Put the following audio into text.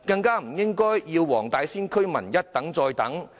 不應要黃大仙區居民一等再等。